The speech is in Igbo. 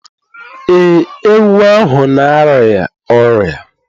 Ee, ewu ahụ na-arịa ọrịa